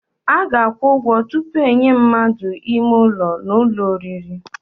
A ga-akwụ ụgwọ tupu enye mmadụ ime ụlọ n'ụlọ oriri.